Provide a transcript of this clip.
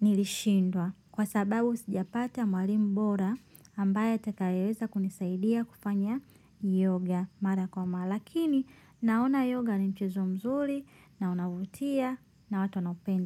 nilishindwa kwa sababu sijapata mwalimu bora ambaye atakayeweza kunisaidia kufanya yoga mara kwa mara lakini naona yoga ni mchezo mzuri na unavutia na watu wanaupenda.